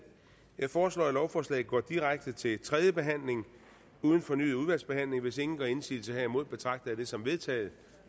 jeg foreslår at lovforslaget går direkte til tredje behandling uden fornyet udvalgsbehandling hvis ingen gør indsigelse herimod betragter jeg det som vedtaget